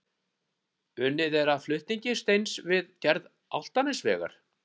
Unnið að flutning steins við gerð Álftanesvegar.